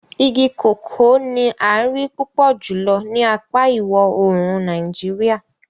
Igi koko ni ń a rii pupọ julọ ni apa iwọ-oorun Nàìjíríà.